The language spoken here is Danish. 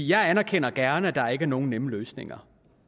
jeg anerkender gerne at der ikke er nogen nemme løsninger